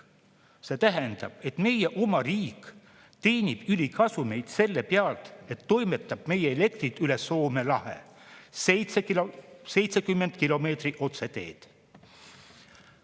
See tähendab, et meie oma riik teenib ülikasumeid selle pealt, et toimetab meie elektrit üle Soome lahe – 70 kilomeetrit otseteed.